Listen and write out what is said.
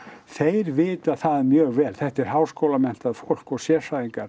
þeir vita það mjög vel þetta er háskólamenntað fólk og sérfræðingar